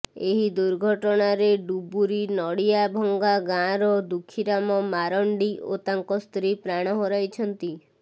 ଏହି ଦୁର୍ଘଟଣାରେ ଡୁବୁରି ନଡ଼ିଆଭଙ୍ଗା ଗାଁର ଦୁଃଖୀରାମ ମାରଣ୍ଡି ଓ ତାଙ୍କ ସ୍ତ୍ରୀ ପ୍ରାଣ ହରାଇଛନ୍ତି